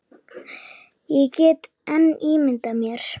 Ég get enn ímyndað mér!